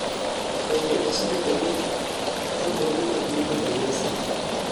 bende osebedo gi chokruoge mag muko kanisa